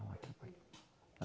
Não atrapalhou.